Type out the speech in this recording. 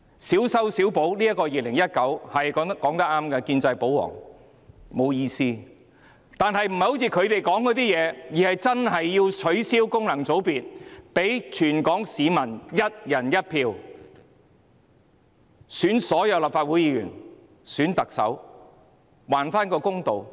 建制派、保皇黨說得對，小修小補《條例草案》是沒有意思的，但不是依他們所說，而是要真正取消功能界別，讓全港市民"一人一票"選舉所有立法會議員和特首，還市民一個公道。